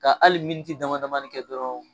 Ka hali dama damani kɛ dɔrɔn